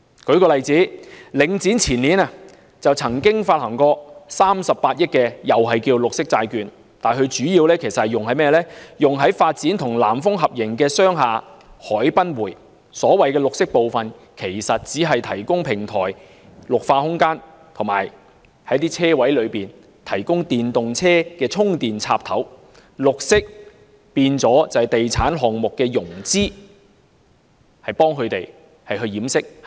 舉例而言，領展房地產投資信託基金於前年曾發行38億元綠色債券，但主要用於發展與南豐發展有限公司合營的商廈海濱匯，所謂的綠色部分其實只是提供平台綠化空間，以及為車位提供電動車充電插頭，"綠色"變成地產項目的融資潤飾。